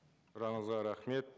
сұрағыңызға рахмет